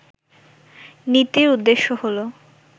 নীতির উদ্দেশ্য হলো